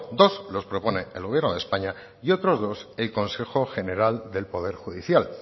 dos los propone el gobierno de españa y otros dos el consejo general del poder judicial